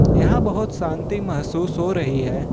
यहां बहुत शांति महसूस हो रही है।